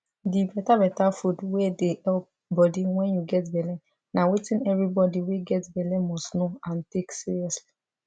the better better food wey dey help body wen you get belle na wetin every body wey get belle must know and take seriously